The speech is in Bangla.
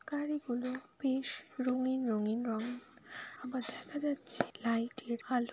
গাড়িগুলো বেশ রঙ্গীন রঙ্গীন রং আবার দেখা যাচ্ছে লাইট -এর আলো।